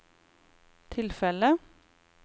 tilfellet